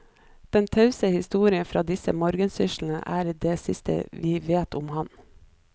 Den tause historien fra disse morgensyslene er det siste vi vet om han.